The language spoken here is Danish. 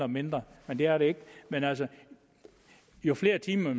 mindre men det er det ikke men altså jo flere timer